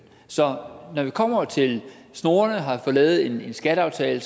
så når vi kommer til snorene og har lavet en skatteaftale